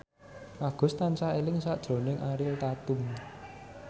Agus tansah eling sakjroning Ariel Tatum